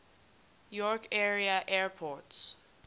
york area airports